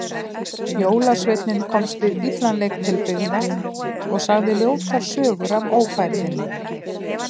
Jólasveinninn komst við illan leik til byggða og sagði ljótar sögur af ófærðinni.